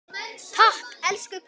Takk elsku pabbi minn.